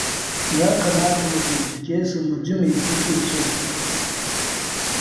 Ya kamata mu bincike su mu ji me suke so.